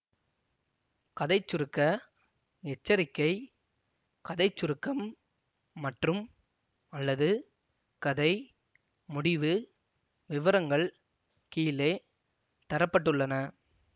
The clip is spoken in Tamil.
கதை சுருக்க எச்சரிக்கை கதை சுருக்கம் மற்றும்அல்லது கதை முடிவு விவரங்கள் கீழே தர பட்டுள்ளன